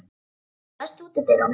Gunndóra, læstu útidyrunum.